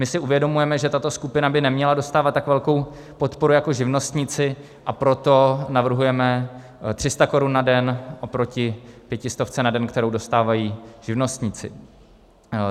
My si uvědomujeme, že tato skupina by neměla dostávat tak velkou podporu jako živnostníci, a proto navrhujeme 300 korun na den oproti pětistovce na den, kterou dostávají živnostníci.